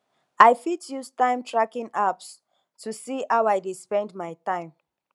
i fit use timetracking apps to see how i dey spend my time